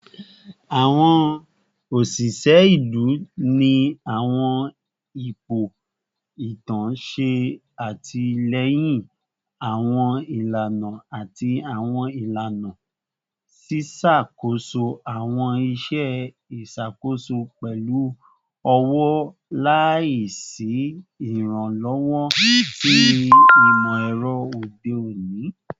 Awọn oṣiṣẹ ilu ni awọn ipo itan ṣe atilẹyin awọn ilana ati awọn ilana, ṣiṣakoso awọn iṣẹ iṣakoso pẹlu ọwọ laisi iranlọwọ ti imọ-ẹrọ ode oni.